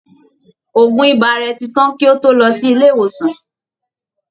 Òògun ibà rẹ̀ ti tán kí ó to lọ sí ilé ìwòsàn